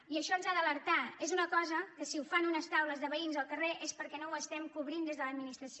i això ens ha d’alertar és una cosa que si la fan unes taules de veïns al carrer és perquè no l’estem cobrint des de l’administració